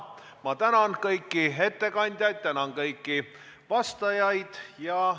Ma tänan kõiki ettekandjaid, tänan kõiki vastajaid!